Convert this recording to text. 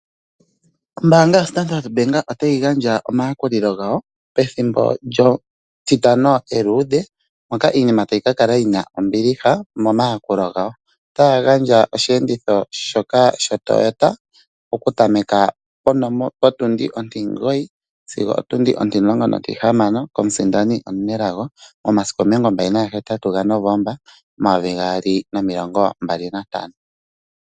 Ombaanga yoStandard Bank otayi gandja omayakulilo gawo pethimbo lyetitano eluudhe, moka iinima tayi ka lala yina ombiliha momayakulo gawo. Otaya gandja oshiyenditho shoka shoToyota oku tameka potundi ontimugoyi sigo otundi ontilongo nontihamano komusindani omunelago, momasiku omilongo mbali nagahetatu gaNovemba, omayovi gaali nomilongo mbali nantano.